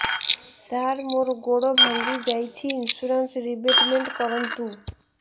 ସାର ମୋର ଗୋଡ ଭାଙ୍ଗି ଯାଇଛି ଇନ୍ସୁରେନ୍ସ ରିବେଟମେଣ୍ଟ କରୁନ୍ତୁ